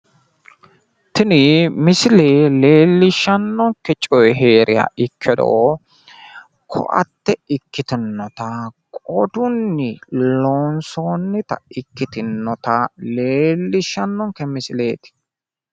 Tini misille leellishannonke coyi heeriha ikkiro koatte ikkitinota qodunni loonsonnita ikkitinnota leellishshannonke misileeti.